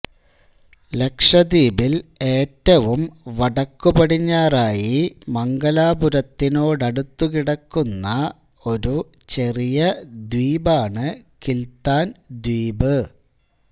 ലക്ഷദ്വീപിൽ ഏറ്റവും വടക്കുപടിഞ്ഞാറായി മംഗലാപുരത്തിനോടടുത്തുകിടക്കുന്ന ഒരു ചെറിയ ദ്വീപാണ് കിൽത്താൻ ദ്വീപ്